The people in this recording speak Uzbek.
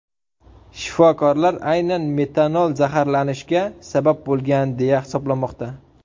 Shifokorlar aynan metanol zaharlanishga sabab bo‘lgan, deya hisoblamoqda.